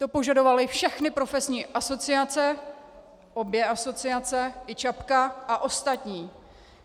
To požadovaly všechny profesní asociace, obě asociace i ČAPka a ostatní.